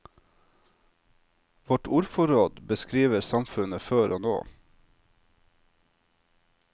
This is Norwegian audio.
Vårt ordforråd beskriver samfunnet før og nå.